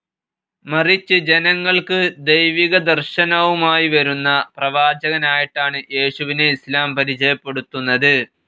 മറിച്ച് ജനങ്ങൾക്ക് ദൈവികദർശനവുമായി വരുന്ന പ്രവാചകനായിട്ടാണ് യേശുവിനെ ഇസ്‌ലാം പരിചയപ്പെടുത്തുന്നത്.